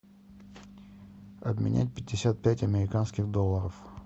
обменять пятьдесят пять американских долларов